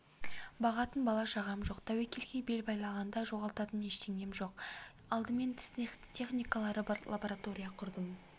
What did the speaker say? бағатын бала-шағам жоқ тәуекелге бел байлағанда жоғалтатын ештеңем жоқ алдымен тіс техникалары бар лаборатория құрдым